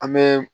An bɛ